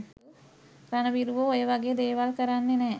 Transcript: රණවිරුවෝ ඔය වගේ දේවල් කරන්නේ නෑ